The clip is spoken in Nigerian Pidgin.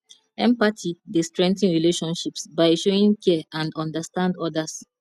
empathy dey strengthen relationships by showing care and understand odas